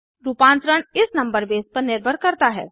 रूपांतरण इस number base पर निर्भर करता है